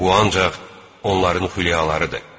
Bu ancaq onların xülyalarıdır.